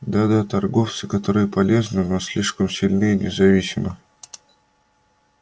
да да торговцы которые полезны но слишком сильны и независимы